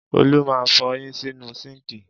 Olú máa ń fọyín sínú síńkì.